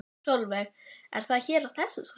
Sólveig: Er það hér á þessu svæði?